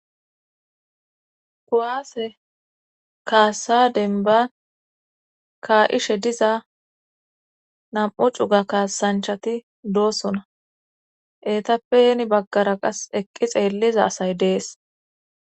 kuwaase kaassa denba kaa7ishe diza nam7u cuga kaasanchati doosona etappeheni baggara qas eqqi xeelliza asay dees